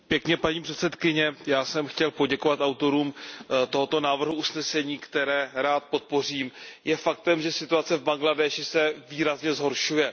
Paní předsedající, já jsem chtěl poděkovat autorům tohoto návrhu usnesení, které rád podpořím. Je faktem, že situace v Bangladéši se výrazně zhoršuje.